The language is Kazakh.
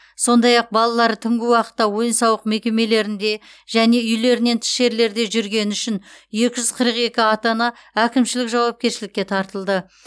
сондай ақ балалары түнгі уақытта ойын сауық мекемелерінде және үйлерінен тыс жерлерде жүргені үшін екі жүз қырық екі ата ана әкімшілік жауапкершілікке тартылды